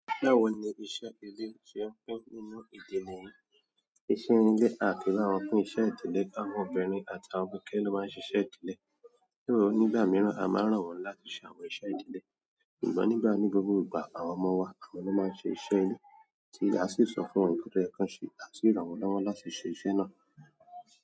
Báwo ni iṣẹ́ ilé ṣe pín nínú ìdílé yìí? Iṣẹ́ ilé àki n bá wọn pín iṣẹ́ ìdílé, àwọn obìnrin àti àwọn abukè ló máa ń ṣe iṣẹ́ ìdílé. So nígbà mìíràn, a máa ràn wọ́n láti ṣe àwọn iṣẹ́ ìdílé. Ǹjẹ́ nígbà gbogbo ìgbà àwọn ọmọ wa àwọn ló máa ń ṣe iṣẹ́ ilé, tí a sì sọ fún wọn nkan to yẹ kan ṣe, a sì ràn wọ́n lọ́wọ́ láti ṣe iṣẹ́ náà.